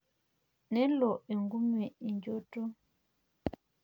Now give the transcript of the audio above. nelo enkume enchoto.